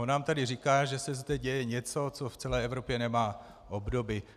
On nám tady říká, že se zde děje něco, co v celé Evropě nemá obdoby.